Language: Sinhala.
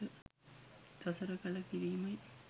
සසර කල කිරීමයි